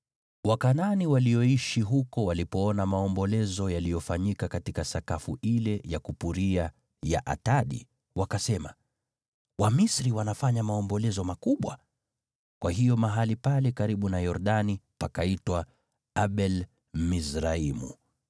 Wakanaani walioishi huko walipoona maombolezo yaliyofanyika katika sakafu ile ya kupuria ya Atadi, wakasema, “Wamisri wanafanya maombolezo makubwa.” Kwa hiyo mahali pale karibu na Yordani pakaitwa Abel-Mizraimu.